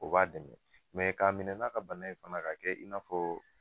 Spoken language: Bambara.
O b'a dɛmɛ, mɛ k'a minɛ n'a ka bana ye fana k'a kɛ i n'a fɔ,